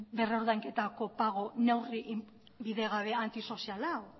berrordainketa neurri bidegabea antisoziala